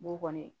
Bon kɔni